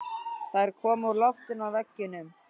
Þær koma úr loftinu og veggjunum.